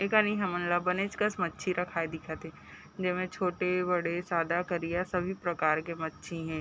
एकानी हमन ल बनेच कस मच्छी रखाये दिखत हे जे में छोटे -बड़े सादा -करिया सभी प्रकार के मच्छी है।